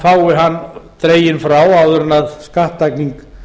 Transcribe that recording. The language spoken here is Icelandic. fái hann dreginn frá áður en skattlagning